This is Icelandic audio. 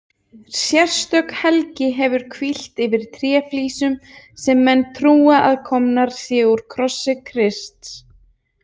Sérstök helgi hefur hvílt yfir tréflísum sem menn trúa að komnar séu úr krossi Krists.